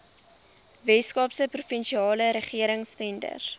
weskaapse provinsiale regeringstenders